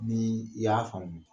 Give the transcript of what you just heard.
Ni i y'a faamu